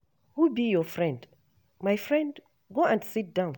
Who be your friend? My friend go and sit down